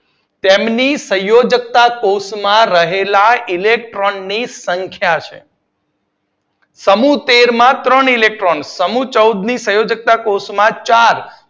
તેમની સંયોજકતા કોષ્ટક માં રહેલા ઇલેક્ટ્રોન ની સંખ્યા છે સમૂહ તેર માં ત્રણ ઇલેક્ટ્રોન, સમૂહ ચૌદ ની સંયોજકતા કોષ્ટક માં ચાર